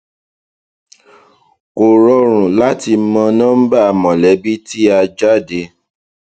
kò rọrùn láti mọ nọmbà mọlẹbí tí a jáde